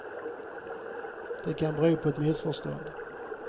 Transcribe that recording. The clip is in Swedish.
Det kan bero på ett missförstånd.